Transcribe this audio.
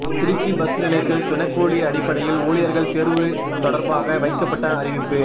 Trichy bus நிலையத்தில் தினக்கூலி அடிப்படையில் ஊழியர்கள் தேர்வு தொடர்பாக வைக்கப்பட்ட அறிவிப்பு